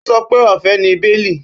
Ó sọ pé ọ̀fẹ́ ni béèlì